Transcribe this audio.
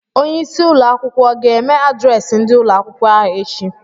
Onye isi ụlọ akwụkwọ ọ ga-eme adreesị ndị ụlọ akwụkwọ eachi?